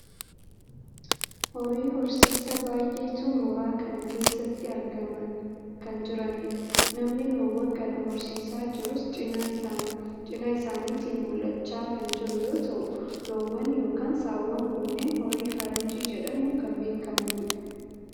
horii horsiisaa baayyeetu mooraa kana keessatti argamaa kan jiranidha. namni loowwan kana horsiisaa jirus cinaa isaaniitin mul'achaa kan jiru yoo ta'u, loowwan yookaan saawwan kunneen horii faranjii jedhamuun kanneen beekkamanidha.